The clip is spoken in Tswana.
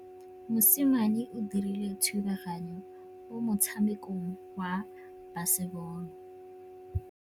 Mosimane o dirile thubaganyô mo motshamekong wa basebôlô.